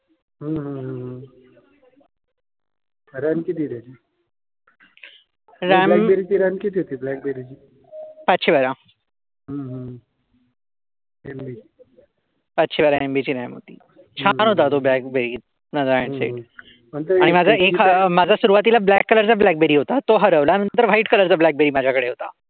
पाचशे बारा MB ची RAM होती. छान होता तो ब्लॅकबेरी, माझा हांड सेट आणि माझा सुरुवातीला ब्लॉक कलरचा ब्लॅकबेरी होता. तो हरवला. नंतर व्हाईट कलरचा ब्लॅकबेरी माझ्याकडे होता.